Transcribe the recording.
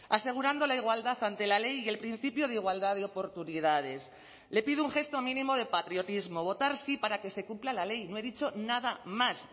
asegurando la igualdad ante la ley y el principio de igualdad de oportunidades le pido un gesto mínimo de patriotismo votar sí para que se cumpla la ley no he dicho nada más